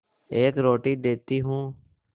एक रोटी देती हूँ